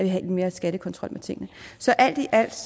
have mere skattekontrol med tingene så alt i alt